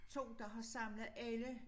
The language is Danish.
2 der har samlet alle